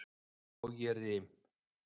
Og ég rym.